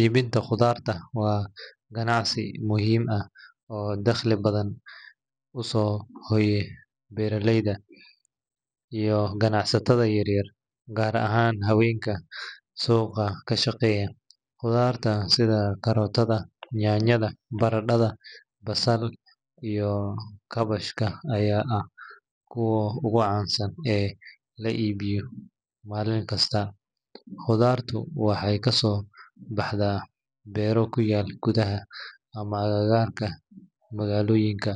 Iibinta khudaarta waa ganacsi muhiim ah oo dakhli badan u soo hoya beeraleyda iyo ganacsatada yaryar, gaar ahaan haweenka suuqa ka shaqeeya. Khudaarta sida karootada, yaanyada, barandhada, basal, iyo kaabashka ayaa ah kuwa ugu caansan ee la iibiyo maalin kasta. Khudaartu waxay kasoo baxdaa beero ku yaal gudaha ama agagaarka magaalooyinka,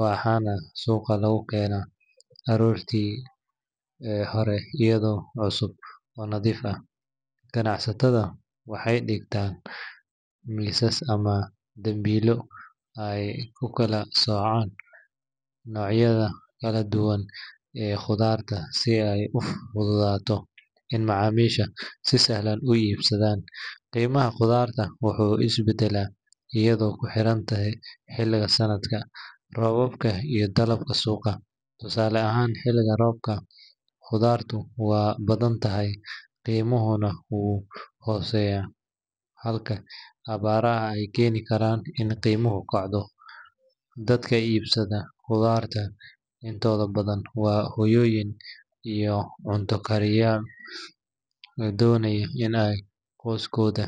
waxaana suuqa lagu keenaa aroortii hore iyadoo cusub oo nadiif ah. Ganacsatada waxay dhigtaan miisas ama dambiilo ay ku kala soocaan noocyada kala duwan ee khudaarta si ay u fududaato in macaamiishu si sahlan u iibsadaan. Qiimaha khudaarta wuxuu isbedbedelaa iyadoo ku xiran xilliga sanadka, roobabka iyo dalabka suuqa. Tusaale ahaan, xilliga roobka khudaartu waa badan tahay, qiimuhuna wuu hooseeyaa, halka abaaraha ay keeni karaan in qiimuhu kacdo. Dadka iibsada khudaarta intooda badan waa hooyooyin iyo cunto-karisyaal doonaya in ay qoysaskooda.